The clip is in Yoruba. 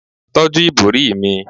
tọju ibori mi